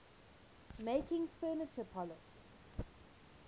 making furniture polish